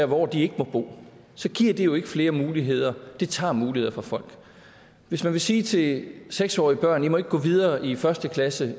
hvor de ikke må bo så giver det jo ikke flere muligheder det tager muligheder fra folk hvis man vil sige til seks årige børn at må gå videre i første klasse